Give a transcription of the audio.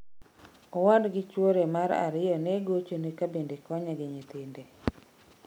Owadgi chwore mar ariyo ne gochone ka bende okonye gi nyithinde